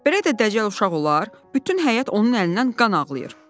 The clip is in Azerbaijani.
Belə də dəcəl uşaq olar, bütün həyət onun əlindən qan ağlayır.